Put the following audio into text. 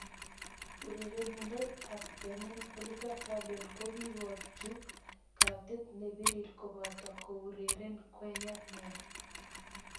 Urerenindet ab Benin Oliver Verdon kokikikochu katit ne pirir kobata kourerene Gueye neya.